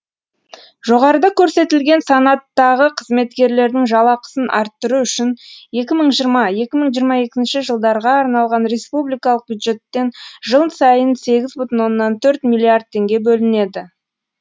жоғарыда көрсетілген санаттағы қызметкерлердің жалақысын арттыру үшін екі мың жиырма екі мың жиырма екінші жылдарға арналған республикалық бюджеттен жыл сайын сегіз бүтін оннан төрт миллиард теңге бөлінеді